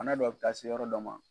Bana dɔ bɛ taa se yɔrɔ dɔ ma.